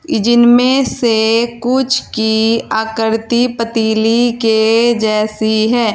जिनमें से कुछ की आकृति पतीली के जैसी है।